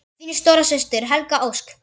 Þín stóra systir, Helga Ósk.